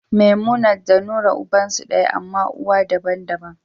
Memumat da Nura ubansu daya, amma uwa daban-daban.